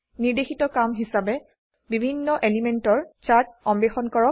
নিৰ্দেশিত কাম হিসাবে বিভিন্ন এলিমেন্টৰ চাৰ্ট অন্বেষণ কৰক